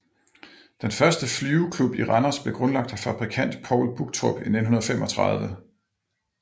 Den første flyveklub i Randers blev grundlagt af fabrikant Poul Buchtrup i 1935